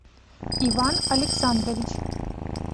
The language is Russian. иван александрович